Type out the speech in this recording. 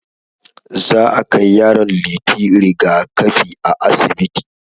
Za akai yaron Liti rigakafi a asibiti.